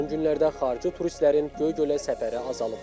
Amma son günlərdə xarici turistlərin Göygölə səfəri azalıb.